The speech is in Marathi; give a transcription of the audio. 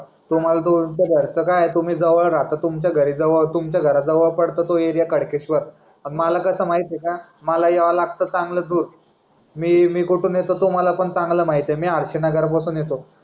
तुम्हाला दोघांचं घरचं काय जवळ राहता तुमचं घर जवळ पडतं तो एरिया कडकेश्वर. आणि माला कसं आहे माहितीये का माला यावं लागतं चांगलं दूर. मी कुठून येतो तुम्हाला पण चांगलं माहितीये मी आळशी नगरा पासून येतो.